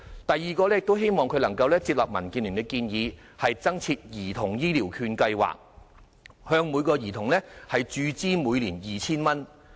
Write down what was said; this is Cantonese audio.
第二，希望政府能夠接納民建聯的建議，增設兒童醫療券計劃，向每名兒童每年注資 2,000 元。